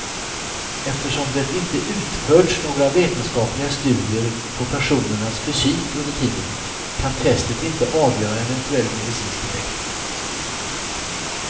Eftersom det inte utförts några vetenskapliga studier på personernas fysik under tiden, kan testet inte avgöra eventuell medicinsk effekt.